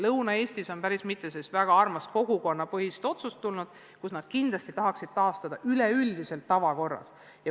Lõuna-Eestis on päris mitu väga head kogukonnapõhist otsust tulnud, et nad kindlasti tahaksid üleüldise tavakorra taastada.